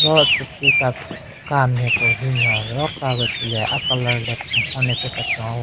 Ro tsü ti ka ka nme ko hyu nyo ro ka gü tsü le a colour le kenhon lape kechon ayue .